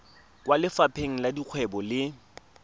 kwa lefapheng la dikgwebo le